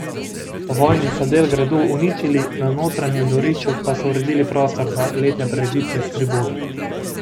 Po vojni so del gradu uničili, na notranjem dvorišču pa so uredili prostor za letne prireditve s tribuno.